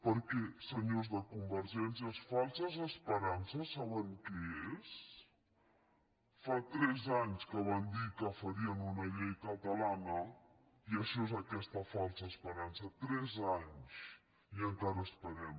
perquè senyors de convergència falses esperances saben què és fa tres anys que van dir que farien una llei catalana i això és aquesta falsa esperança tres anys i encara esperem